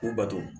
K'u bato